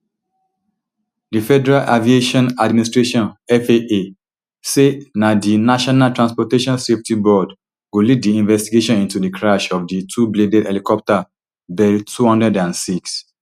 di federal aviation administration faa say na di national transportation safety board go lead di investigation into di crash of di twobladed helicopter bell two hundred and six